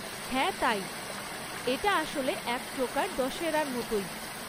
হ্যাঁ তাই, এটা আসলে এক প্রকার দশেরার মতোই।